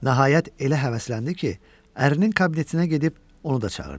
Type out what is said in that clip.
Nəhayət elə həvəsləndi ki, ərinin kabinetinə gedib onu da çağırdı.